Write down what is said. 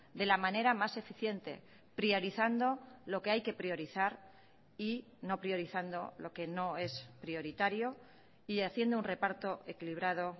de la manera más eficiente priorizando lo que hay que priorizar y no priorizando lo que no es prioritario y haciendo un reparto equilibrado